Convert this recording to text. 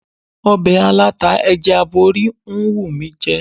Ọbẹ̀ aláta ẹja aborí ń wù mí jẹ.